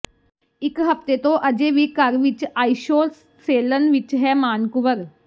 ਇਕ ਹਫਤੇ ਤੋਂ ਅਜੇ ਵੀ ਘਰ ਵਿੱਚ ਆਈਸ਼ੋਸੇਲਨ ਵਿਚ ਹੈ ਮਾਨ ਕੁੰਵਰ